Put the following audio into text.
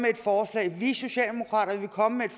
jeg vi socialdemokrater vil komme med et